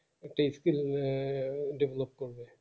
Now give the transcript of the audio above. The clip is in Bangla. একটা skil develop করবে